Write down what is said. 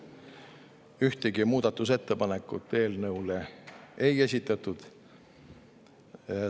Ühtegi muudatusettepanekut eelnõu kohta ei esitatud.